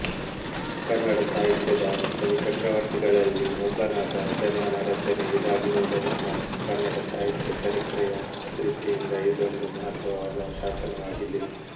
ಕನ್ನಡ ಸಾಹಿತ್ಯದ ಕವಿಚಕ್ರವರ್ತಿಗಳಲ್ಲಿ ಒಬ್ಬನಾದ ಜನ್ನನ ರಚನೆ ಇದಾಗಿರುವುದರಿಂದ ಕನ್ನಡ ಸಾಹಿತ್ಯ ಚರಿತ್ರೆಯ ದೃಷ್ಟಿಯಿಂದ ಇದೊಂದು ಮಹತ್ವವಾದ ಶಾಸನವಾಗಿದೆ